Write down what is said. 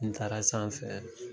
Ni n taara sanfɛ